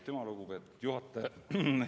Aitüma, lugupeetud juhataja!